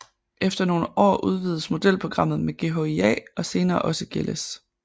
Efter nogle år udvides modelprogrammet med GHIA og senere også GLS